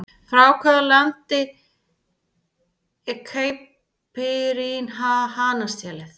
Frá hvaða landi er Caipirinha hanastélið?